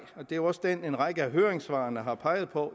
og det er også den en række af høringssvarene har peget på